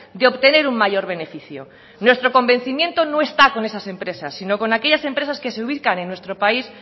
de obtener un mayor beneficio nuestro convencimiento no está con esas empresas sino aquellas empresas que se ubican en nuestro país